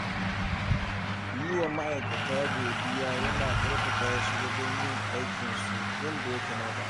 Yi wa ma’aikata godiya yana ƙarfafa su wajen yin aikinsu yadda ya kamata.